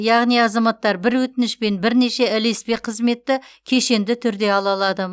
яғни азаматтар бір өтінішпен бірнеше ілеспе қызметті кешенді түрде ала алады